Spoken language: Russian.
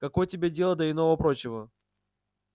какое тебе дело до иного-прочего